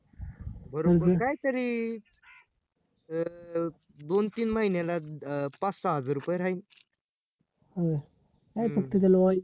वरून पण काय तरी अं दोन तीन महिन्याला पाच सहा हजार रुपये राहील